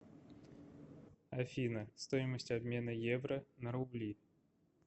афина стоимость обмена евро на рубли